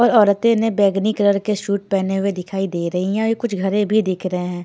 और औरतें ने बैगनी कलर के सूट पहने हुए दिखाई दे रही हैं और ये कुछ घरे भी दिख रहे हैं।